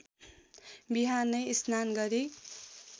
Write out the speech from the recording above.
बिहानै स्नान गरी